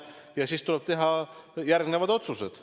Ja siis tuleb teha järgmised otsused.